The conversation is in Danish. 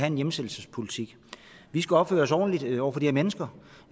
en hjemsendelsespolitik vi skal opføre os ordentligt over for de her mennesker